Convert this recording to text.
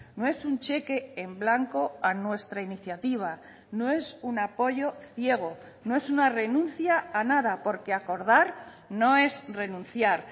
no es un cheque en blanco a nuestra iniciativa no es un apoyo ciego no es una renuncia a nada porque acordar no es renunciar